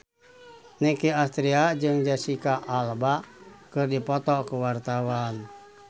Nicky Astria jeung Jesicca Alba keur dipoto ku wartawan